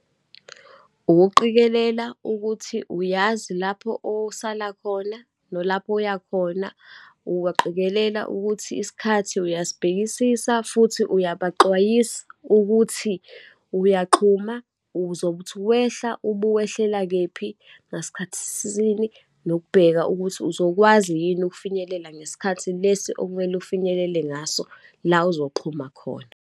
Ukuqikelela ukuthi uyazi lapho osala khona, nolapho uyakhona, uyaqikelela ukuthi isikhathi uyasibhekisisa, futhi uyabaxwayisa ukuthi uyaxhuma, uzobe uthi wehla ubuwehlela kephi, ngasikhathi sini, nokubheka ukuthi uzokwazi yini ukufinyelela ngesikhathi lesi okumele ufinyelele ngaso, la uzoxhuma khona.